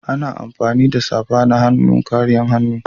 Ana amfani da safana-hannu kariyan hannu.